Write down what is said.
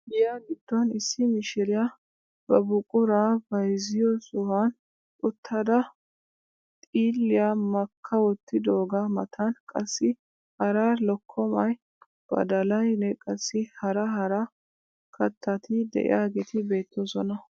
Giya giddon issi mishiriyaa ba buquraa bayzziyoo sohuwaan uttada xiilliyaa makka wottidoogaa matan qassi hara lokkomay badalayinne qassi hara hara kattati de'iyaageti beettoosona.